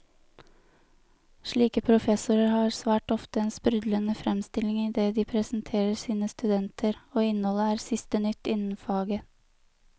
Slike professorer har svært ofte en sprudlende fremstilling i det de presenterer sine studenter, og innholdet er siste nytt innen faget.